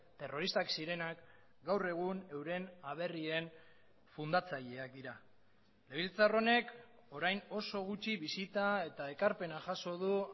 terroristak zirenak gaur egun euren aberrien fundatzaileak dira legebiltzar honek orain oso gutxi bisita eta ekarpena jaso du